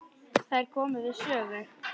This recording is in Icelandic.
Þær komu við sögu.